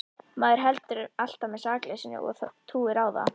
Maður heldur alltaf með sakleysinu og trúir á það.